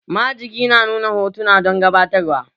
Majigi na nuna hotuna don gabatarwa